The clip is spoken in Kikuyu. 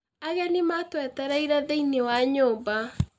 Ageni matũetereire thĩiniĩ wa nyũmba.